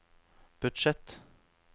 budsjett